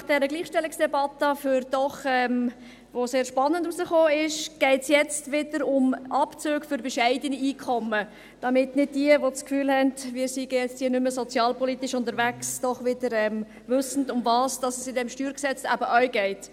Nach dieser Gleichstellungsdebatte, die doch recht spannend war, geht es jetzt wieder um Abzüge für bescheidene Einkommen, damit diejenigen, die denken, wir seien hier nicht mehr sozialpolitisch unterwegs, doch wieder wissen, worum es in diesem StG eben auch geht.